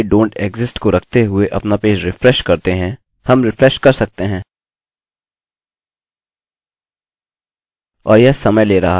हम रिफ्रेशrefresh कर सकते हैं और यह समय ले रहा है